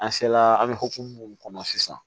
An se la an bɛ hokumu mun kɔnɔ sisan